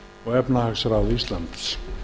og efnahagsráð íslands